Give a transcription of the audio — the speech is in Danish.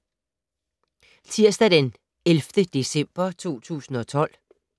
Tirsdag d. 11. december 2012